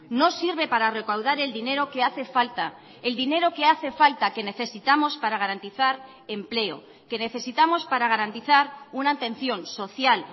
no sirve para recaudar el dinero que hace falta el dinero que hace falta que necesitamos para garantizar empleo que necesitamos para garantizar una atención social